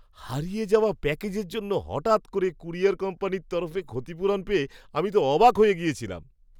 হারিয়ে যাওয়া প্যাকেজের জন্য হঠাৎ করে ক্যুরিয়ার কোম্পানির তরফে ক্ষতিপূরণ পেয়ে আমি তো অবাক হয়ে গেছিলাম!